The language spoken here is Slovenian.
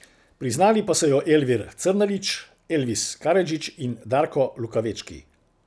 Priznali pa so jo Elvir Crnalić, Elvis Karadžić in Darko Lukavečki.